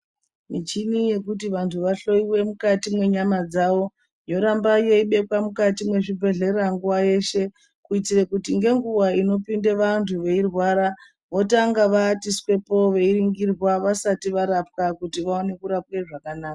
Michini yekuti vantu vahloiwe mukati menyama dzawo, yoramba yeibekwa mukati mezvibhedhlera nguwa yeshe, kuitire kuti nenguwa inopinde vantu veyirwara votanga vawatiswepo veyiringirwa vasati varapwa kuti vaone kurapwe zvakanaka.